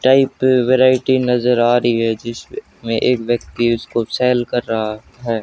Type variety नजर आ रही है जिसमें एक व्यक्ति उसको सेल कर रहा है।